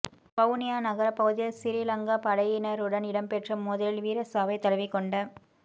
வவுனியா நகரப் பகுதியில் சிறிலங்கா படையினருடன் இடம்பெற்ற மோதலில் வீரச்சாவைத் தழுவிக்கொண்ட